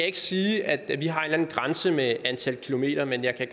ikke sige at vi har en eller anden grænse med et antal kilometer men jeg kan